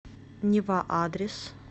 нева адрес